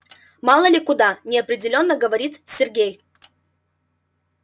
мало ли куда неопределённо говорит сергей